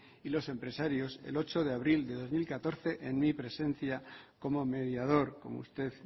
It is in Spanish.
y los empresarios el ocho de abril de dos mil catorce en mi presencia como mediador como usted